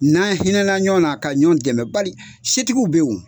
N'an hinɛna ɲɔgɔnna, ka ɲɔgɔn dɛmɛ, bali setigiw bɛ yen wo!